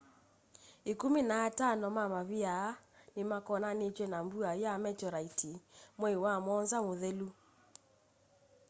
ĩkũmĩ na atano ma mavĩa aa nĩmakonanitw'e na mbua ya metioraiti mwei wa mũonza muthelu